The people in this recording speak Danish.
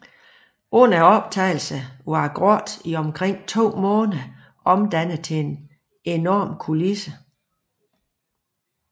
Under optagelserne var grotten i omkring to måneder omdannet til en enorm kulisse